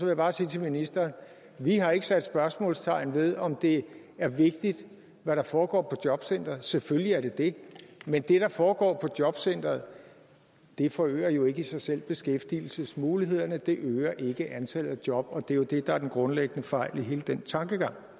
jeg bare sige til ministeren vi har ikke sat spørgsmålstegn ved om det er vigtigt hvad der foregår på jobcenteret selvfølgelig er det det men det der foregår på jobcenteret forøger jo ikke i sig selv beskæftigelsesmulighederne det øger ikke antallet af job og det er jo det der er den grundlæggende fejl i hele den tankegang